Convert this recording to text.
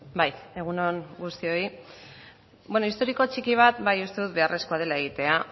bai egun on guztioi bueno historiko txiki bat bai uste dut beharrezkoa dela egitea